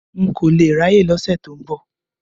N kò lè ráyè lọ́sẹ̀ tó ń bọ̀.